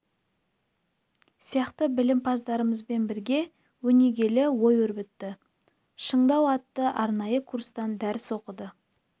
сияқты білімпаздармен бірге өнегелі ой өрбітті шыңдау атты арнайы курстан дәріс оқыды